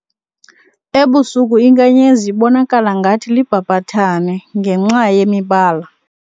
Ebusuku inkanyezi ibonakala ngathi libhabhathane ngenxa yemibala.